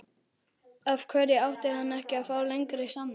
Af hverju ætti hann ekki að fá lengri samning?